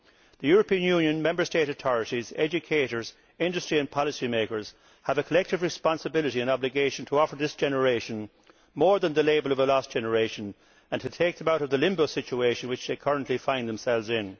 The European Union, Member State authorities, educators, industry and policy makers have a collective responsibility and obligation to offer this generation more than the label of a lost generation, and to take them out of the limbo situation which they currently find themselves in.